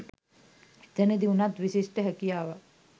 එතනදී උනත් විශිෂ්ඨ හැකියාවක්